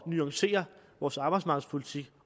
nuancere vores arbejdsmarkedspolitik